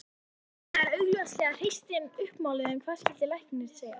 Jakobína er augljóslega hreystin uppmáluð en hvað skyldi læknir segja?